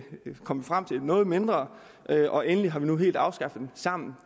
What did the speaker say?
kom vi frem til noget mindre og endelig har vi nu helt afskaffet den sammen